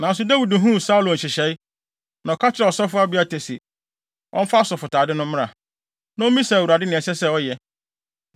Nanso Dawid huu Saulo nhyehyɛe, na ɔka kyerɛɛ ɔsɔfo Abiatar se, ɔmfa asɔfotade no mmra, na ommisa Awurade nea ɛsɛ sɛ ɔyɛ.